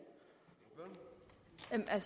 er